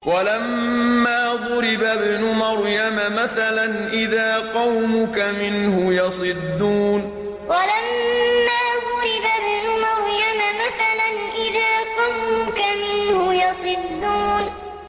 ۞ وَلَمَّا ضُرِبَ ابْنُ مَرْيَمَ مَثَلًا إِذَا قَوْمُكَ مِنْهُ يَصِدُّونَ ۞ وَلَمَّا ضُرِبَ ابْنُ مَرْيَمَ مَثَلًا إِذَا قَوْمُكَ مِنْهُ يَصِدُّونَ